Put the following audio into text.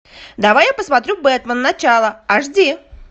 давай я посмотрю бэтмен начало аш ди